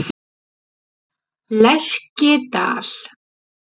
Lerkidal